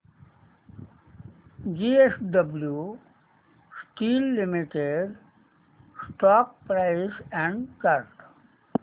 JSW steel limited stock price and chart